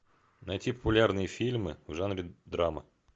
найти популярные фильмы в жанре драма